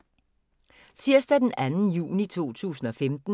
Tirsdag d. 2. juni 2015